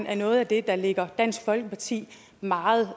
er noget af det der ligger dansk folkeparti meget